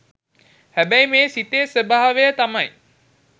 හැබැයි මේ සිතේ ස්වභාවය තමයි